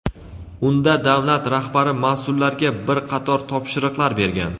Unda davlat rahbari mas’ullarga bir qator topshiriqlar bergan.